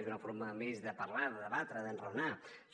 és una forma més de parlar de debatre d’enraonar